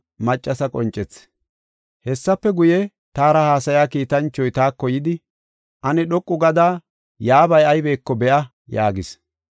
Hessafe guye, taara haasaya kiitanchoy taako yidi, “Ane dhoqu gada, yaabay aybeko be7a” yaagis.